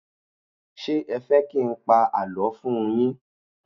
Ṣé ẹ fẹ́ kí n pa àlọ́ fún un yín?